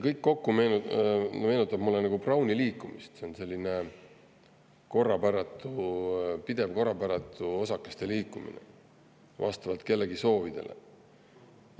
Kõik kokku meenutab mulle Browni liikumist, see on selline pidev korrapäratu osakeste liikumine vastavalt kellegi soovidele.